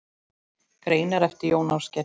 Greinar eftir Jón Ásgeir